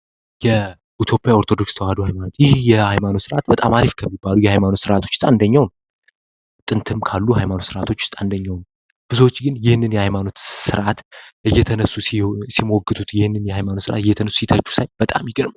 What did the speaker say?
የኢትዮጵያ ኦርቶዶክስ ተዋሕዶ ሀይማኖት ይህ የሀይማኖት ስርዓት በጣም አሪፍ ከሚባሉት የሀይማኖት ስርዓቶች ውስጥ አንደኛው ነው። ጥንትም ካሉት የሀይማኖት ስርዓቶች ውስጥ አንደኛው ነው። ብዙዎች ግን ይህንን የሀይማኖት ስርዓት እየተነሱ ሲሞግቱት፣ ይህንን የሀይማኖት ስርዓት እየተነሱ ሲተቹ ሳይ በጣም ይገርመኛል።